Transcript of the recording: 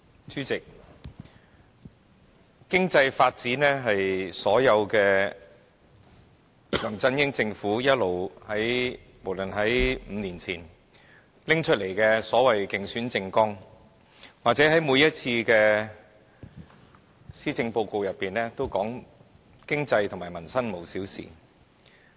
主席，經濟發展一直是梁振英政府強調的要務，不論是5年前提出的政綱或每年的施政報告，莫不表示"經濟、民生無小事"。